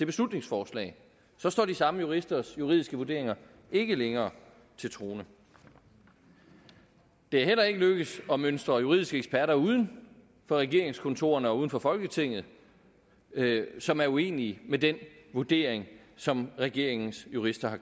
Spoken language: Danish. beslutningsforslag så står de samme juristers juridiske vurderinger ikke længere til troende det er heller ikke lykkedes at mønstre juridiske eksperter uden for regeringskontorerne og uden for folketinget som er uenige med den vurdering som regeringens jurister har